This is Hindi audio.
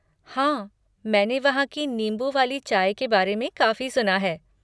हाँ मैंने वहाँ की नींबू वाली चाय के बारे में काफ़ी सुना है।